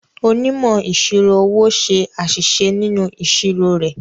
Onímọ̀ ìṣirò owó ṣe àṣìṣe nínú ìṣirò rẹ̀.